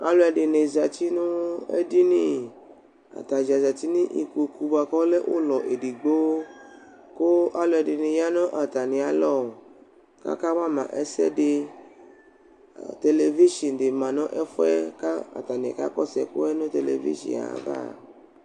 Alʋɛdɩnɩ zǝtɩ nʋ edini Atadza zǝtɩ nʋ ikpokʋ bʋakʋ ɔlɛ ʋlɔ edigbo; kʋ alʋ ɛdɩnɩ ya nʋ atamɩ alɔ Akawa ma ɛsɛdɩ Televizɩ dɩ ma nʋ ɛfʋɛ kʋ atanɩ kakɔsʋ ɛkʋwa nʋ televizɩ ye ava